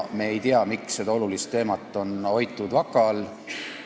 Me ei tea, miks seda olulist teemat on vaka all hoitud.